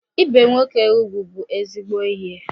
Ibe nwoke ugwu bụ ezigbo ihe